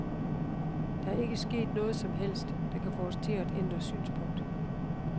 Der er ikke sket noget som helst, der kan få os til at ændre synspunkt.